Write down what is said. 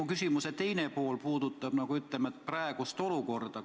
Mu küsimuse teine pool puudutab aga praegust olukorda.